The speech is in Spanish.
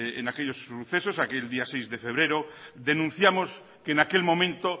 en aquellos sucesos aquel día seis de febrero denunciamos que en aquel momento